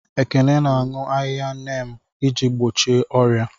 Ekene na-aṅụ ahịhịa neem iji gbochie ọrịa.